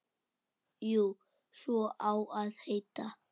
Jú, svo á að heita.